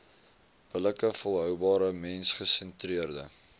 billike volhoubare mensgesentreerde